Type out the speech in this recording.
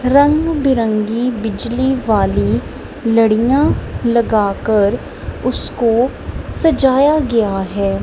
रंग बिरंगी बिजली वाली लडीयां लगाकर उसको सजाया गया है।